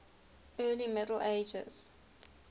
early middle ages